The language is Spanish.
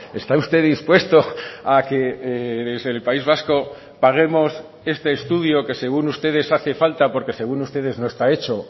está usted dispuesto a que desde el país vasco paguemos este estudio que según ustedes hace falta porque según ustedes no está hecho